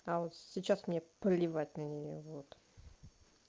а вот сейчас мне плевать на неё вот